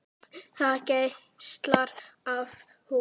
Það geislar af honum.